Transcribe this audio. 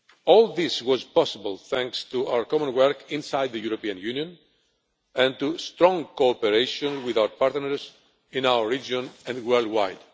All this was possible thanks to our common work inside the European Union, and to strong cooperation with our partners in our region and worldwide.